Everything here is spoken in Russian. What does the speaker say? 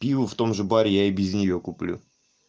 пиво в том же баре я и без неё куплю